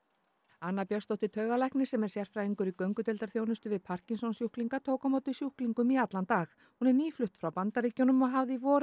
anna Björnsdóttir taugalæknir sem er sérfræðingur í göngudeildarþjónustu við parkinsonssjúklinga tók á móti sjúklingum í allan dag hún er nýflutt frá Bandaríkjunum og hafði í vor